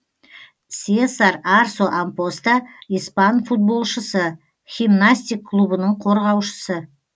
сесар арсо ампоста испан футболшысы химнастик клубының қорғаушысы